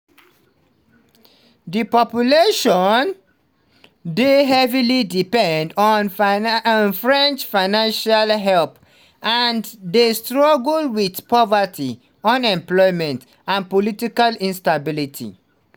di island population dey heavily dependent on french financial help and dey struggle wit poverty unemployment and political instability.